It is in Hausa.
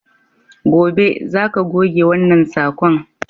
Gobe, za ka goge wannan sakon!